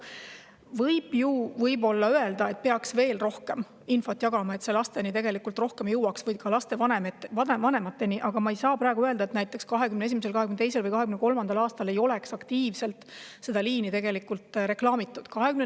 Võib ju öelda, et peaksime veel rohkem infot jagama, et see lasteni jõuaks ning ka lapsevanemateni, aga ma ei saa väita, et näiteks 2021., 2022. või 2023. aastal ei oleks seda liini aktiivselt reklaamitud.